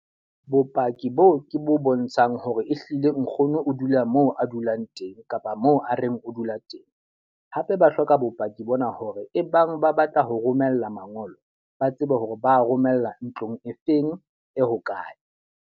Bopaki boo ke bo bontshang hore ehlile nkgono o dula moo a dulang teng kapa moo a reng o dula teng. Hape ba hloka bopaki bona hore ebang ba batla ho romela mangolo, ba tsebe hore ba romella ntlong e feng, e hokae.